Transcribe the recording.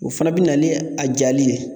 O fɛnɛ bi na ni a jali ye